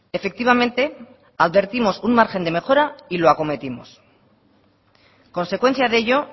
efectivamente advertimos un margen de mejora y lo acometimos consecuencia de ello